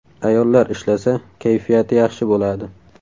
Ayollar ishlasa, kayfiyati yaxshi bo‘ladi.